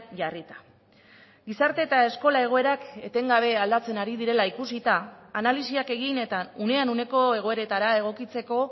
jarrita gizarte eta eskola egoerak etengabe aldatzen ari direla ikusita analisiak egin eta unean uneko egoeretara egokitzeko